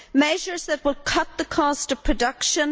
measures that will cut the cost of production